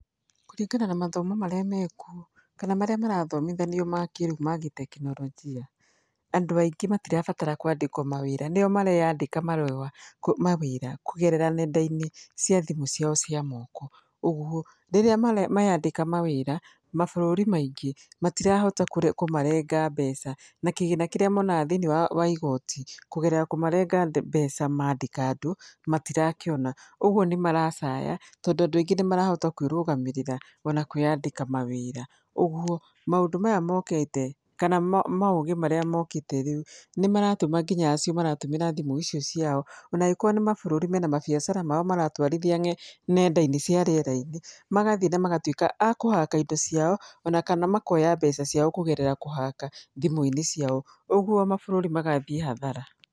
Kũringana na mathomo marĩa mekuo kana marĩa marathomithanio ma kĩrĩu ma gĩtekinoronjia andũ aingĩ matirabatara kwandĩkwo mawĩra nĩo mareyandĩka ma wĩra kũgerera nenda-inĩ cia thimũ ciao cia moko, ũguo rĩrĩa meyandĩka ma wĩra mabũrũri maingĩ matirahota kũmarenga mbeca na kĩgĩna kĩrĩa monaga thĩiniĩ wa igoti kũgerera kũmarenga mbeca mandĩka andũ matirakĩona ũguo nĩ maracaya, tondũ andũ aingĩ nĩ marahota kwĩrũgamĩrĩra ona kwĩyandĩka mawĩra. Ũguo maũndũ maya mokĩte kana maũgĩ marĩa mokĩte rĩu nĩ maratũma nginya acio maratũmĩra thimũ icio ciao ona angĩkorwo nĩ mabũrũri mena mabiacara mao maratwarithia nenda-inĩ cia rĩera-inĩ magathiĩ na magatuĩka akũhaka ĩndo ciao ona kana makoya mbeca ciao kũgerera kũhaka thimũ-inĩ ciao, ũguo mabũrũri magathĩĩ hathara.